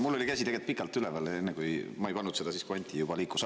Mul oli käsi tegelikult pikalt üleval, ma ei pannud seda siis, kui Anti juba liikus.